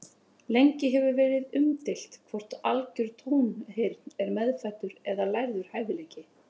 Lengi hefur verið umdeilt hvort algjör tónheyrn er meðfæddur eða lærður hæfileiki.